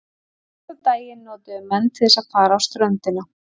Síðasta daginn notuðu menn til þess að fara á ströndina.